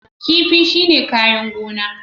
Kifi shine kayan gona